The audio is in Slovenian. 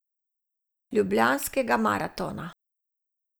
Ljubljanskega maratona.